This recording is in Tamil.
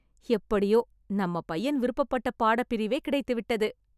எப்படியோ நம்ம பையன் விருப்பப்பட்ட பாடப்பிரிவே கிடைத்துவிட்டது